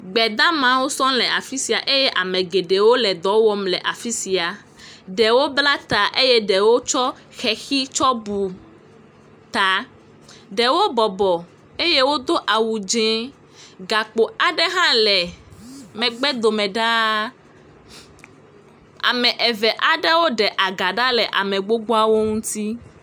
Gbedamawo sl afi sia eye ame geɖewo le ɖɔ wŋm le afi sia. Ɖewo bla ta eye ɖewo ɖo hexi ɖe ta. Ɖewo bɔbɔ eye wodo awu dzɛ. Gakpo aɖe hã le megbe do me ɖa. ame eve aɖewo ɖe aga ɖa le ame gbogboa wo ŋuti.